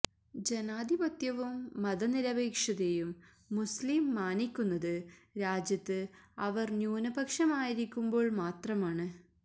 ജനാധിപത്യവും മത നിരപേക്ഷതയും മുസ്ലിം മാനിക്കുന്നത് രാജ്യത്ത് അവര് ന്യൂനപക്ഷം ആയിരിക്കുമ്പോള് മാത്രമാണ്